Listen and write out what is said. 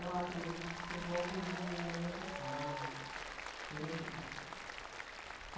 Eu acredito que por volta de noventa e quatro noventa e quatro